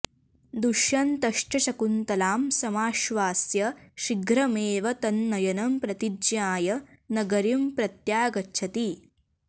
दुष्यन्तश्च शकुन्तलां समाश्वास्य शीघ्रमेव तन्नयनं प्रतिज्ञाय नगरीं प्रत्यागच्छति